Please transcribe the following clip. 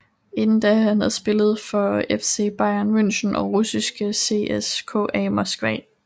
Inden da havde han spillet for FC Bayern Munchen og russiske CSKA Moskva